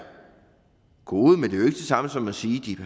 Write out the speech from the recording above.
gode men ikke det samme som at sige at de